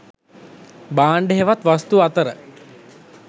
භාණ්ඩ හෙවත් වස්තු අතර